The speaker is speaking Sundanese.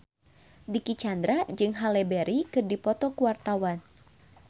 Dicky Chandra jeung Halle Berry keur dipoto ku wartawan